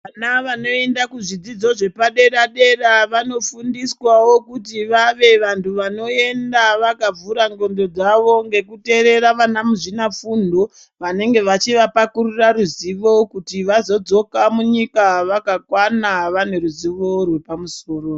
Vana vanoenda kuzvidzidzo zvepadera-dera vano fundiswawo kuti vave vari vantu vanoenda vakavhura ndxondo dzavo ngekuteerera vana muzvinafundo, vanonge vachiva pakurira ruzivo kuti vazodzoka munyika vakakwana vaneruzivo rwepamusoro.